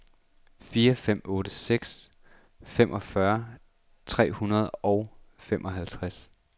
fire fem otte seks femogfyrre tre hundrede og femoghalvtreds